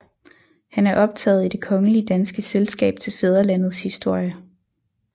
Han er optaget i Det Kongelige Danske Selskab til Fædrelandets Historie